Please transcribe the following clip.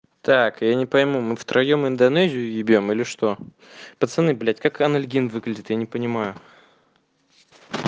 так я не пойму мы втроём индонезию ебем или что пацаны блять как анальгин выглядит я не понимаю